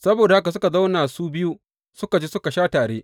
Saboda haka suka zauna su biyu suka ci suka sha tare.